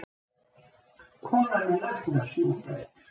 Konan er læknastúdent